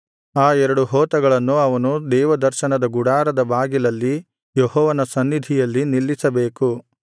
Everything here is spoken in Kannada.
ಆ ಎರಡು ಹೋತಗಳನ್ನು ಅವನು ದೇವದರ್ಶನದ ಗುಡಾರದ ಬಾಗಿಲಲ್ಲಿ ಯೆಹೋವನ ಸನ್ನಿಧಿಯಲ್ಲಿ ನಿಲ್ಲಿಸಬೇಕು